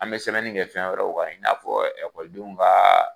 An bɛ sɛbɛnni kɛ fɛn wɛrɛw kan i n'a fɔ ekɔlidenw ka